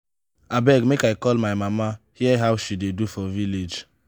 abeg make i call my mama hear how she dey do for village.